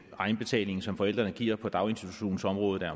egenbetalingen som forældrene giver på daginstitutionsområdet er